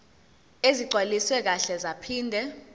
ezigcwaliswe kahle zaphinde